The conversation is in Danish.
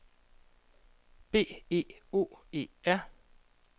B E O E R